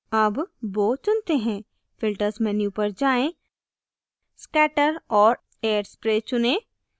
अब bow चुनते हैं filters menu पर जाएँ scatter और air spray चुनें